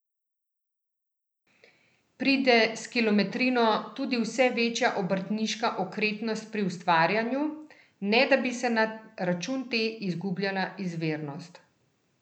Pride s kilometrino tudi vse večja obrtniška okretnost pri ustvarjanju, ne da bi se na račun te izgubljala izvirnost?